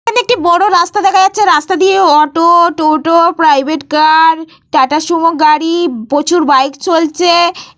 এখানে একটি বড় রাস্তা দেখা যাচ্ছে। রাস্তা দিয়ে auto toto private car Tata Sumo গাড়ি প্রচুর বাইক চলছে ।